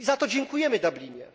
I za to dziękujemy Dublinowi.